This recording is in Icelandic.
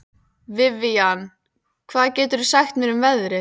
Vivian, hvað geturðu sagt mér um veðrið?